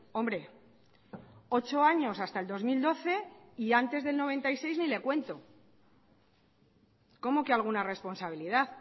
hombre ocho años hasta el dos mil doce y antes del noventa y seis ni le cuento cómo que alguna responsabilidad